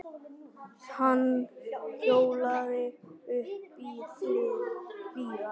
Hann hjólaði uppí Hlíðar.